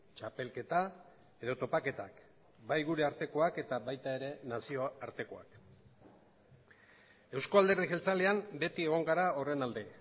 txapelketa edo topaketak bai gure artekoak eta baita ere nazioartekoak euzko alderdi jeltzalean beti egon gara horren alde